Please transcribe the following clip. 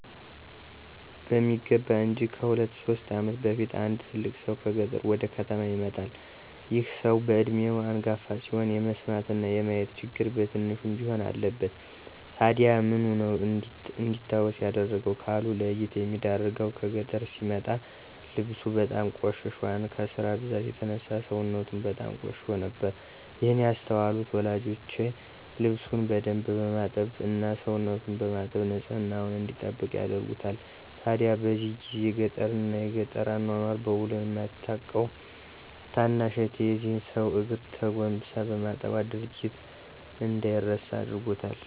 በሚገባ እንጅ። ከሁለት ሶስት ዓመት በፊት አንድ ትልቅ ሰው ከገጠር ወደ ከተማ ይመጣል። ይህ ሰው በዕድሜው አንጋፋ ሲሆን የመስማትና የማየት ችግር በትንሹም ቢሆን አለበት። ታዲያ ምኑ ነው እንዲታወስ ያደረገው? ካሉ፤ ለይት የሚያደርገው ከገጠር ሲመጣ ልብሱ በጣም ቆሽሾና ከስራ ብዛት የተነሳ ሰውነቱም በጣም ቆሽሾ ነበር። ይህን ያስተዋሉት ወላጆቼ ልብሱን በደንብ በማጠብ እና ሰውነቱን በማጠብ ንፅህናውን እንዲጠብቅ ያደርጉታል። ታዲያ በዚህ ጊዜ ገጠርን እና የገጠር አኗኗር በዉል የማታቀው ታናሽ እህቴ የዚህን ሰው እግር ተጎንብሳ በማጠቧ ድርጊቱ እንደይረሳ አድርጎታል።